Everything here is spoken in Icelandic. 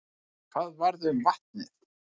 En hvað varð um vatnið?